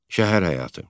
Şəhər həyatı.